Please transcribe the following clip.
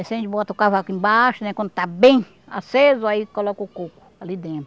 Incende, bota o cavaco embaixo, né, quando está bem aceso aí coloca o coco ali dentro.